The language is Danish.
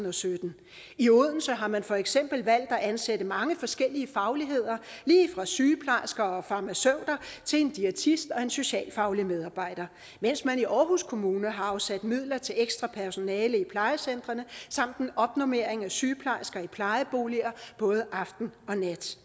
og sytten i odense har man for eksempel valgt at ansætte mange forskellige fagligheder lige fra sygeplejersker og farmaceuter til en diætist og en socialfaglig medarbejder mens man i aarhus kommune har afsat midler til ekstra personale i plejecentrene samt en opnormering af sygeplejersker i plejeboliger både aften og nat